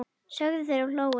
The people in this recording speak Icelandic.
sögðu þeir og hlógu.